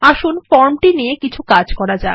আসুন ফর্মটি নিয়ে কিছু কাজ করা যাক